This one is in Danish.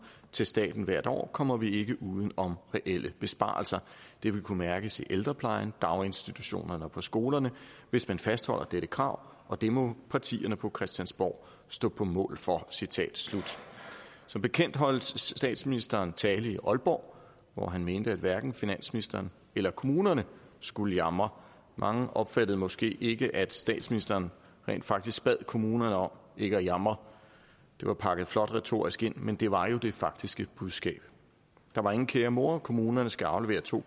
til staten hvert år kommer vi ikke uden om reelle besparelser det vil kunne mærkes i ældreplejen daginstitutionerne og på skolerne hvis man fastholder dette krav og det må partierne på christiansborg stå på mål for som bekendt holdt statsministeren tale i aalborg hvor han mente at hverken finansministeren eller kommunerne skulle jamre mange opfattede måske ikke at statsministeren rent faktisk bad kommunerne om ikke at jamre det var pakket flot retorisk ind men det var jo det faktiske budskab der var ingen kære mor kommunerne skal aflevere to